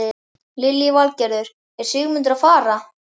Lillý Valgerður: Er Sigmundur að fara?